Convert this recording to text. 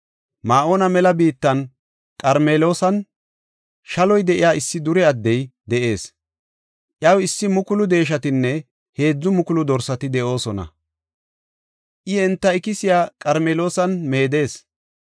Ma7oona mela biittan, Qarmeloosan shaloy de7iya issi dure addey de7ees. Iyaw issi mukulu deeshatinne heedzu mukulu dorsati de7oosona. I enta ikisiya Qarmeloosan meedees.